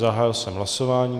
Zahájil jsem hlasování.